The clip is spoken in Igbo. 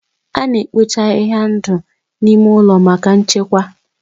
A na-ekpocha ahịhịa ndụ n'ime ụlọ maka nchekwa.